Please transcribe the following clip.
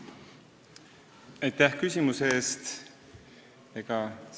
Aitäh küsimuse eest!